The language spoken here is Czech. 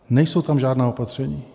Nejsou tam žádná opatření.